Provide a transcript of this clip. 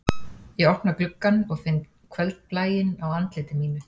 Ég opna gluggann og finn kvöldblæinn á andliti mínu